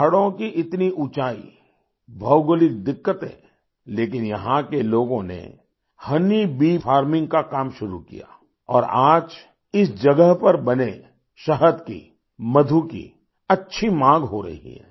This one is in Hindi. पहाड़ों की इतनी ऊँचाई भौगोलिक दिक्कतें लेकिन यहाँ के लोगों ने होनी बी फार्मिंग का काम शुरू किया और आज इस जगह पर बने शहद की मधु की अच्छी मांग हो रही है